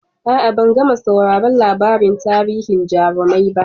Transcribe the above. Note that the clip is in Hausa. A'a, ban gama sauraron labarin tarihin jarumai ba.